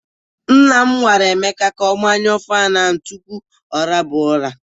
Nna m gwara Emeka ka ọ gbanyu fanụ a tupu ọ laba ụra.